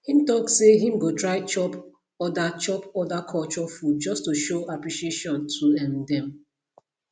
him talk say him go try chop other chop other culture food just to show appreciation to um dem